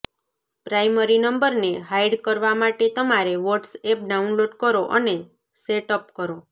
primary નંબરને hide કરવા માટે તમારે વોટ્સએપ ડાઉનલોડ કરો અને સેટઅપ કરો